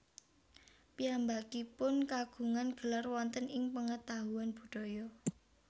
Piyambakipun kagungan gelar wonten ing pengetahuan budaya